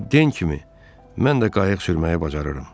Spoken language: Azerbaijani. Amma den kimi mən də qayıq sürməyi bacarıram.